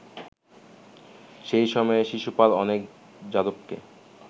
সেই সময়ে শিশুপাল অনেক যাদবকে